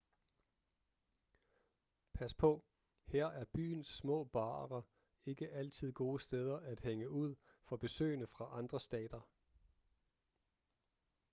pas på her er byens små barer ikke altid gode steder at hænge ud for besøgende fra andre stater